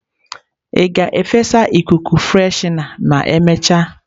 Ị ga-efesa ikuku freshener ma emechaa?